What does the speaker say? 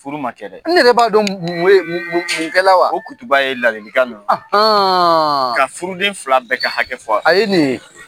Furu ma kɛ dɛ; E yɛrɛ b'a dɔn m nwele mun mun mun kɛla wa? Ko kutuba ye ladilikan de ye. ka furuden fila bɛɛ ka hakɛ fɔ. A ye nin ye.